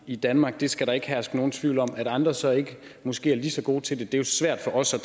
i danmark det skal der ikke herske nogen tvivl om at andre så ikke måske er lige så gode til det er jo svært for os at